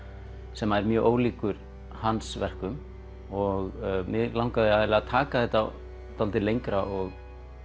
sem er mjög ólíkur hans verkum og mig langaði eiginlega að taka þetta svolítið lengra og